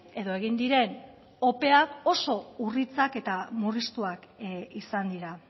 edo egin diren opeak oso urriak eta murriztuak izan dira